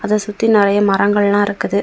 அதை சுத்தி நிறைய மரங்கள் எல்லா இருக்குது.